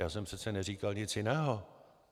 Já jsem přece neříkal nic jiného.